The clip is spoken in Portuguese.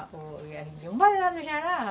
A gente dizia, vamos lá no Jará.